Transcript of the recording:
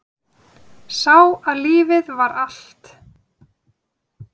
Sá að lífið var allt.